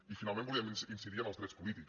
i finalment volíem incidir en els drets polítics